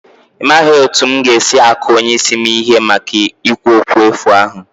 Imaghị otú m ga-esi aku onye isi m ihe maka ikwu okwu efu ahụ